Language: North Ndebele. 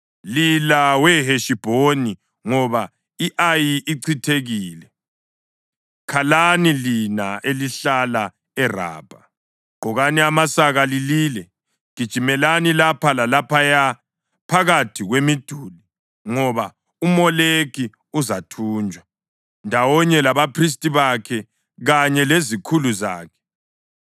“Lila weHeshibhoni, ngoba i-Ayi ichithekile! Khalani lina elihlala eRabha! Gqokani amasaka lilile; gijimelani lapha lalaphaya phakathi kwemiduli, ngoba uMoleki uzathunjwa, ndawonye labaphristi bakhe kanye lezikhulu zakhe.